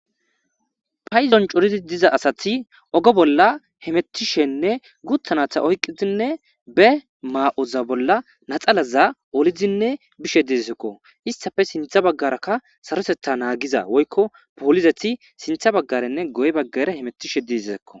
Paydon corid diza asat oge bolla hamutishenne guta nata oykidinne be mayoza bolla laxanaza olid bishe desko , istappe sintha bagaraka sarotetha nanghza woyko poliset sinta bagaranne guye bagara hamutishe dizako.